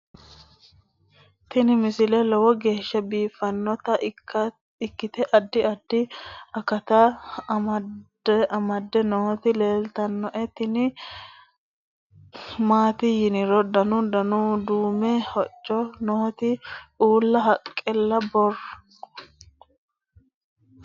tini misile lowo geeshsha biiffannota ikkite addi addi akata amadde nooti leeltannoe tini maati yiniro dana duume hocco nooti uulla haqale karroonnihu leellanni nooe